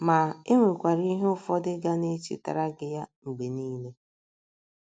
Ma, e nwekwara ihe ụfọdụ ga na - echetara gị ya mgbe niile.